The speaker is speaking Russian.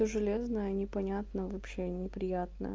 и железная непонятно вообще неприятная